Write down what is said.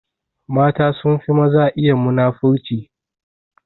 Mata sunfi maza iya muna-furci.